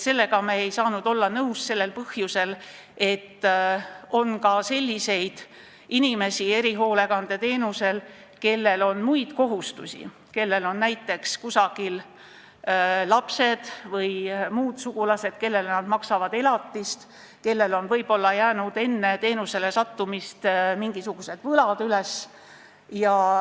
Sellega ei saanud me olla nõus sellel põhjusel, et erihoolekandeteenust saavad ka sellised inimesed, kellel on muid kohustusi, neil on näiteks kusagil lapsed või muud sugulased, kellele nad maksavad elatist, või on neil võib-olla enne teenuse saamist jäänud mingisugused võlad.